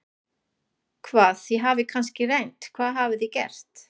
Hvað, þið hafið kannski reynt, hvað hafið þið gert?